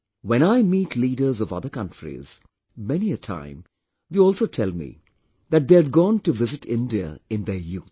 When I meet leaders of other countries, many a time they also tell me that they had gone to visit India in their youth